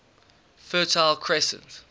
fertile crescent